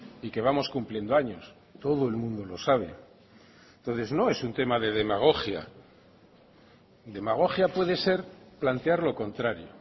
y que vamos cumpliendo años todo el mundo lo sabe entonces no es un tema de demagogia demagogia puede ser plantear lo contrario